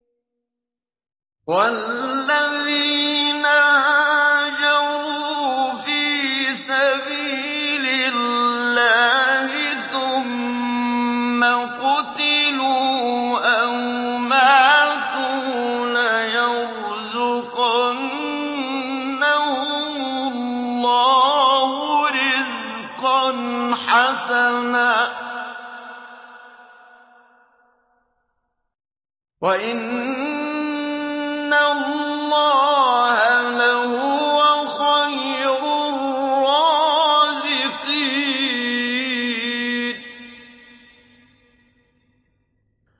وَالَّذِينَ هَاجَرُوا فِي سَبِيلِ اللَّهِ ثُمَّ قُتِلُوا أَوْ مَاتُوا لَيَرْزُقَنَّهُمُ اللَّهُ رِزْقًا حَسَنًا ۚ وَإِنَّ اللَّهَ لَهُوَ خَيْرُ الرَّازِقِينَ